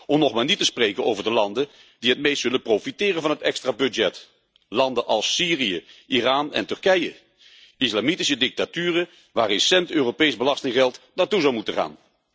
Om nog maar niet te spreken over de landen die het meest zullen profiteren van het extra budget, landen als Syrië, Iran en Turkije, islamitische dictaturen waar geen cent Europees belastinggeld naartoe zou moeten gaan.